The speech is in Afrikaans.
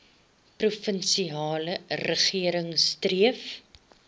provinsiale regering streef